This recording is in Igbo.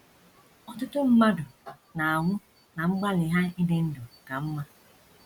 Ọtụtụ mmadụ na - anwụ ná mgbalị ha ịdị ndụ ka mma.